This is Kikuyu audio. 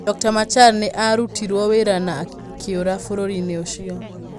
Dr. Machar nĩ aarutirũo wĩra na akĩũra bũrũri-inĩ ũcio.